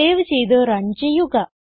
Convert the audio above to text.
save ചെയ്ത് run ചെയ്യുക